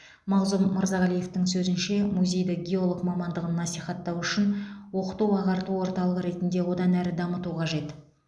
мағзұм мырзағалиевтің сөзінше музейді геолог мамандығын насихаттау үшін оқыту ағарту орталығы ретінде одан әрі дамыту қажет